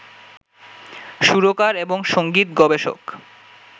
সুরকার এবং সংগীত গবেষক